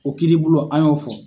O kiiri bolo an y'o fɔ.